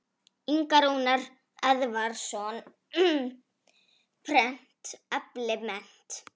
Ingi Rúnar Eðvarðsson, Prent eflir mennt.